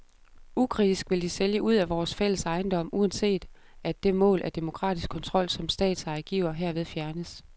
Ukritisk vil de sælge ud af vores fælles ejendom, uanset at det mål af demokratisk kontrol som statseje giver, herved fjernes.